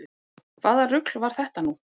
Hvaða rugl var þetta nú?